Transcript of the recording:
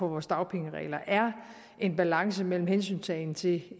vores dagpengeregler er en balance mellem hensyntagen til